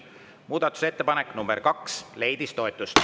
Muudatusettepanek nr 2 leidis toetust.